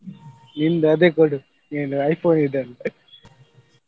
ನಿಂದ್ ಅದೇ ಕೊಡು ನಿನ್ನ iPhone ಇದೆ ಅಲ್ಲ.